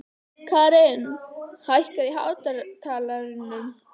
Karin, hækkaðu í hátalaranum.